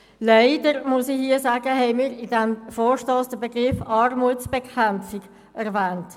Leider – muss ich hier sagen – haben wir in diesem Vorstoss den Begriff «Armutsbekämpfung» erwähnt.